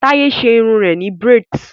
Taye ṣe irun rẹ ni braids